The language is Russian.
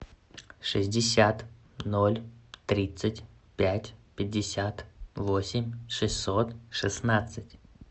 шестьдесят ноль тридцать пять пятьдесят восемь шестьсот шестнадцать